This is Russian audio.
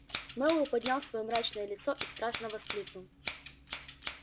мэллоу поднял своё мрачное лицо и страстно воскликнул